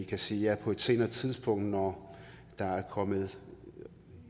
kan sige ja på et senere tidspunkt når der er kommet